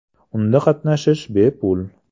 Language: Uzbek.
Unda qatnashish bepul.